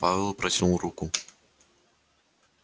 пауэлл протянул руку